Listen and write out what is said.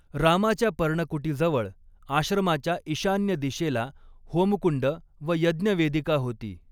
रामाच्या पर्णकुटीजवळ आश्रमाच्या ईशान्य दिशेला होमकुंड व यज्ञवेदिका होती.